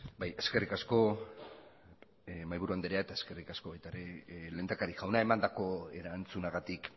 bai eskerrik asko mahaiburu andrea eta eskerrik asko baita ere lehendakari jauna emandako erantzunagatik